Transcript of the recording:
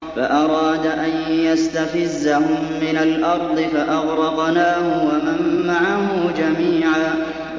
فَأَرَادَ أَن يَسْتَفِزَّهُم مِّنَ الْأَرْضِ فَأَغْرَقْنَاهُ وَمَن مَّعَهُ جَمِيعًا